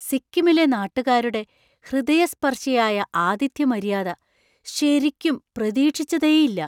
സിക്കിമിലെ നാട്ടുകാരുടെ ഹൃദയസ്പർശിയായ ആതിഥ്യമര്യാദ ശരിക്കും പ്രതീക്ഷിച്ചതേയില്ല.